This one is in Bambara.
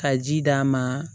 Ka ji d'a ma